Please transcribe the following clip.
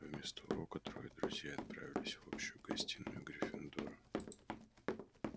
вместо урока трое друзей отправились в общую гостиную гриффиндора